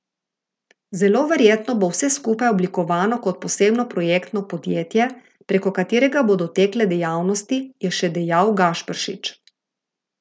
Zelo verjetno bo vse skupaj oblikovano kot posebno projektno podjetje, preko katerega bodo tekle dejavnosti, je še dejal Gašperšič.